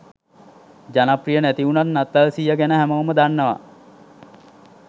ජනප්‍රිය නැති උනත් නත්තල් සීයා ගැන හැමෝම දන්නවා.